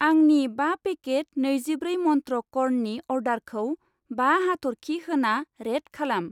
आंनि बा पेकेट नैजिब्रै मन्त्र कर्ननि अर्डारखौ बा हाथरखि होना रेट खालाम।